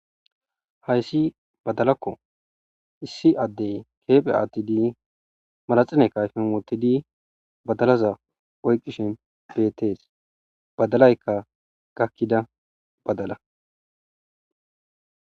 hayssi badalakko issi addey keephe aattidi malaxine kayfin wottidi badalaza oyqishin beetees badalaykka gakkida badala